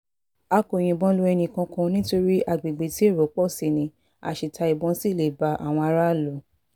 a kò yìnbọn lu ẹnìkankan nítorí àgbègbè tí èrò pọ̀ sí ní àsítà ìbọn sì lè bá àwọn aráàlú